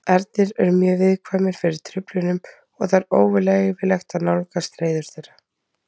Ernir eru mjög viðkvæmir fyrir truflunum og það er óleyfilegt að nálgast hreiður þeirra.